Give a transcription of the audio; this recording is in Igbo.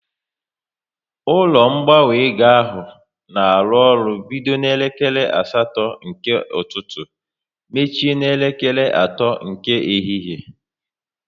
Ụlọ ngbanwe ego ahụ na arụ ọrụ bido n'elekere asatọ nke ụtụtụ mechie n'elekere atọ nke ehihie